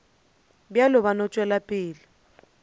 bjalo ba no tšwela pele